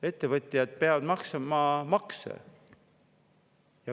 Ettevõtjad peavad maksma makse.